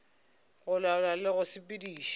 go laola le go sepediša